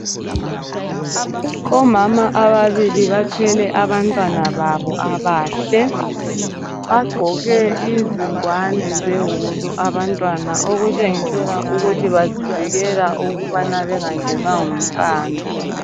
Omama ababili bathwele abantwana babo abahle .Bagqoke izingwane zewulu abantwana okutshengisela ukuthi bazivikela ukubana bengangenwa ngumqando.